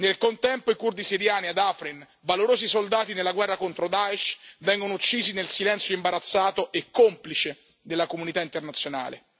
Nel contempo, i curdi siriani ad Afrin, valorosi soldati nella guerra contro Daesh, vengono uccisi nel silenzio imbarazzato e complice della comunità internazionale.